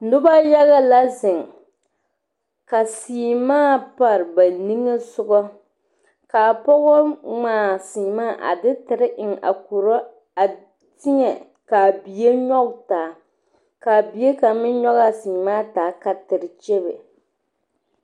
Noba yaga la zeŋ ka seɛmaa pare ba niŋe sogɔ kaa pɔge ŋmaa seɛmaa a de tere eŋ a koro a teɛ kaa bie nyɔge taa kaa bie kaŋa meŋ nyɔge a seɛmaa taa ka tere kyɛbe